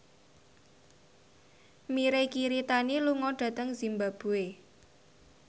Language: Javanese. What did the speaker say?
Mirei Kiritani lunga dhateng zimbabwe